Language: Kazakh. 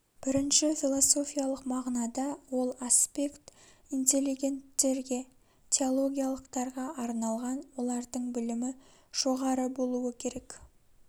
бірінші философиялық мағынада ол аспект интеллегенттерге теологиялықтарға арналған олардың білімі жоғары болуы керек